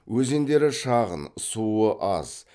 өзендері шағын суы аз